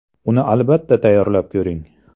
Uni albatta tayyorlab ko‘ring!